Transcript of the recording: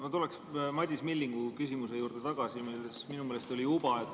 Ma tulen Madis Millingu küsimuse juurde tagasi, milles minu meelest oli uba.